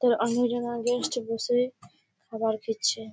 তো অন্য জন আগে এসছে বসে খাবার খাচ্ছে।